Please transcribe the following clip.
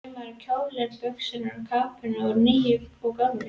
Saumaði kjóla, buxur og kápur upp úr nýju og gömlu.